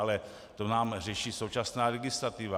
Ale to nám řeší současná legislativa.